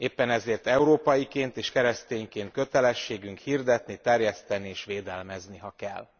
Éppen ezért európaiként és keresztényként kötelességünk hirdetni, terjeszteni és védelmezni, ha kell.